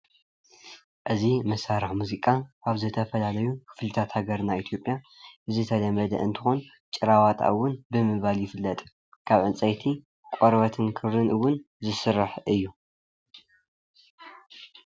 እዚ መሳርሒ ሙዚቃ አብ ዝተፈላለዩ ክፍልታት ሃገርና ኢትዮጵያ ዝተለመደ እንትኮን ጭራ ዋጣ እውን ብምባል ይፍለጥ ካብ ዕንፀይቲ ቆርበትን ክርን እውን ዝስራሕ እዩ።